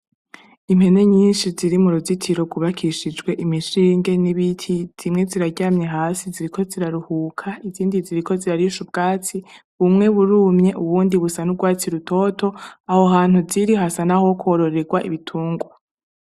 Impene nyinshi ziri mu ruzitiro rubakishijwe imishinge n'ibiti zimwe ziraryamye hasi ziriko ziraruhuka izindi ziriko zirarishe ubwatsi bumwe burumye uwundi busa n'ubwatsi rutoto aho hantu ziri hasa na ho kwororerwa ibitungwa.